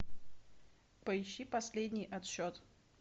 поищи последний отсчет